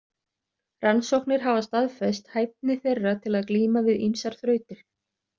Rannsóknir hafa staðfest hæfni þeirra til að glíma við ýmsar þrautir.